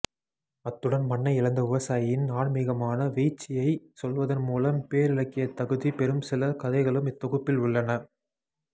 அத்துடன் மண்ணை இழந்த விவசாயியின் ஆன்மீகமான வீச்சியைச் சொல்வதன் மூலம் பேரிலக்கியத்தகுதி பெறும் சில கதைகளும் இத்தொகுப்பில் உள்ளன